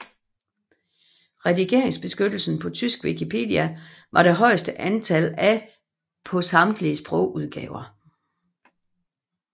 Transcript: Redigeringsbeskyttelsen på tysk wikipedia var det højeste antal af på samtlige sprogudgaver